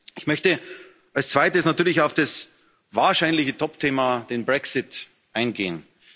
Ich möchte als Zweites natürlich auf das wahrscheinliche Topthema den Brexit eingehen.